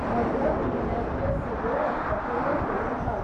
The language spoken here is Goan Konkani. भद्रक जिल्ल्यांतल्यो सगळ्यो रक्तपेढयो सोदून काड.